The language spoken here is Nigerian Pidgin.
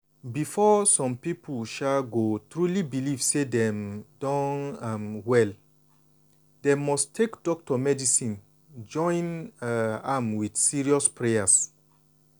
before some people um go truly believe say dem don um well dem must take doctor medicine join um am with serious prayers.